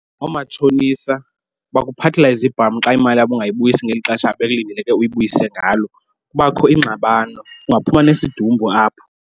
Oomatshonisa bakuphathela izibhamu xa imali yabo ungayibuyisi ngeli xesha bekulindeleke uyibuyise ngalo. Kubakho ingxabano, kungaphuma nesidumbu apho.